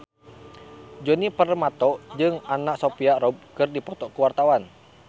Djoni Permato jeung Anna Sophia Robb keur dipoto ku wartawan